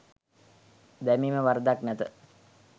දැමීම වරදක් නැත